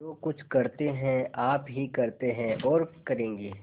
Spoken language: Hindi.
जो कुछ करते हैं आप ही करते हैं और करेंगे